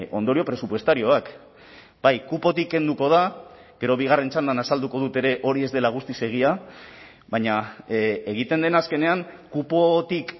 ondorio presupuestarioak bai kupotik kenduko da gero bigarren txandan azalduko dut ere hori ez dela guztiz egia baina egiten dena azkenean kupotik